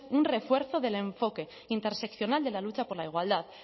un refuerzo del enfoque interseccional de la lucha por la igualdad